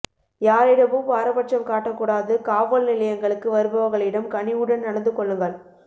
யாரிடமும் பாரபட்சம் காட்ட கூடாது காவல் நிலையங்களுக்கு வருபவர்களிடம் கனிவுடன் நடந்து கொள்ளுங்கள்